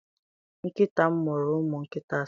Nkịta m mụrụ ụmụ nkịta asatọ.